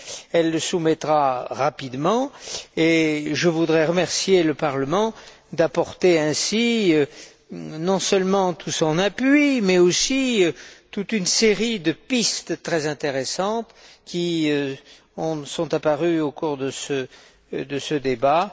Elle le soumettra rapidement, et je voudrais remercier le Parlement d'apporter ainsi non seulement tout son appui, mais aussi toute une série de pistes très intéressantes qui sont apparues au cours de ce débat.